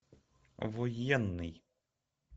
военный